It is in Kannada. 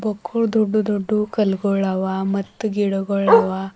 ಒಕ್ಕುಳ್ ದೊಡ್ದು ದೊಡ್ದು ಕಲ್ಗಳುವ ಮತ್ ಗಿಡಗುಳ್ ಅವ.